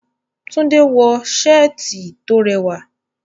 Tunde wọ ṣẹ́ẹ̀tì tó rẹwà.